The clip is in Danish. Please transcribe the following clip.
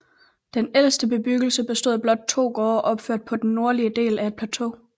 Den ældste bebyggelse bestod af blot to gårde opført på den nordlige del af et plateau